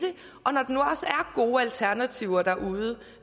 gode alternativer derude